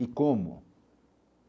E como?